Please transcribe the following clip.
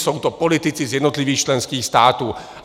Jsou to politici z jednotlivých členských států.